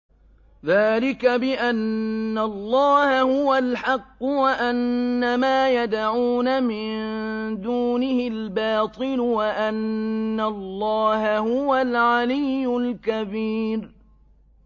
ذَٰلِكَ بِأَنَّ اللَّهَ هُوَ الْحَقُّ وَأَنَّ مَا يَدْعُونَ مِن دُونِهِ الْبَاطِلُ وَأَنَّ اللَّهَ هُوَ الْعَلِيُّ الْكَبِيرُ